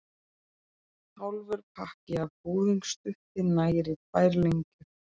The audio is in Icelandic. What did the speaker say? Hálfur pakki af búðingsdufti nægir í tvær lengjur.